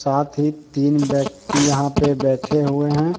ताथ ही तीन बक्ति यहां पे बैठे हुए हैं।